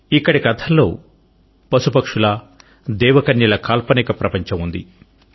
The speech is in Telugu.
ఇక్కడి కథల్లో పశు పక్షుల దేవకన్యల కాల్పనిక ప్రపంచం ఉంది